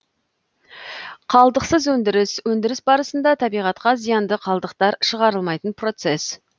қалдықсыз өндіріс өндіріс барысында табиғатқа зиянды қалдықтар шығарылмайтын процесс